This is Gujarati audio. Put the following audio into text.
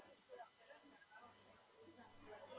હાં, એટલે વધારે તો ખાતો નહીં પણ, ભાવે, pizza ભાવે.